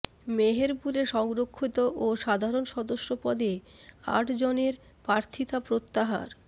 মেহেরপুরে সংরক্ষিত ও সাধারণ সদস্য পদে আটজনের প্রার্থীতা প্রত্যাহার